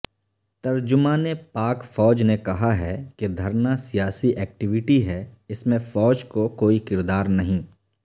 ترجمان پاک فوج نے کہا ہے کہ دھرناسیاسی ایکٹویٹی ہےاس میں فوج کو کوئی کردارنہیں